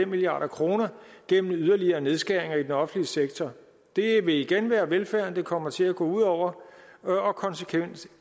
milliard kroner gennem yderligere nedskæringer i den offentlige sektor det vil igen være velfærden det kommer til at gå ud over og konsekvensen